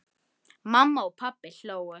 Mamma og pabbi hlógu.